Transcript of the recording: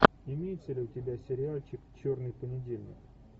имеется ли у тебя сериальчик черный понедельник